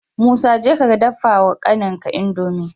Musa jeka ka dafa wa kanin ka indomie